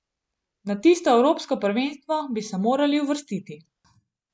Na tisto evropsko prvenstvo bi se morali uvrstiti.